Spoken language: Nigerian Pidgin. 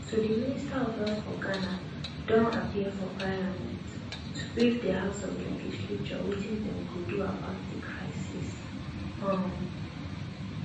so di minister of health for ghana don appear for parliament to brief di house of legislature wetin dem dey do about di crisis um